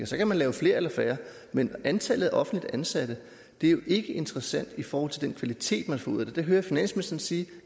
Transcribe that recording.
så kan man lave flere eller færre men antallet af offentligt ansatte er jo ikke interessant i forhold til den kvalitet man får ud af det det hører jeg finansministeren sige